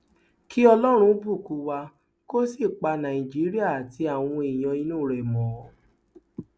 kí ọlọrun bùkún wa kó sì pa nàìjíríà àti àwọn èèyàn inú rẹ mọ